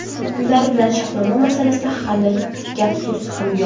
Ular bilan shartnoma masalasida hali gap-so‘z ham yo‘q.